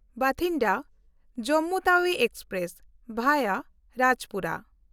Bathinda Jammu Tawi express (ᱵᱷᱟᱭᱟ ᱨᱟᱡᱪᱯᱩᱨᱟ)